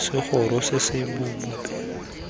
segoro se se bobebe mme